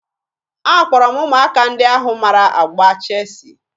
Akpọrọ m ụmụaka ndị ahụ mara agba cheesiị